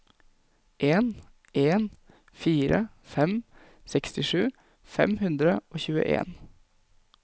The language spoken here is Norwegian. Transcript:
en en fire fem sekstisju fem hundre og tjueen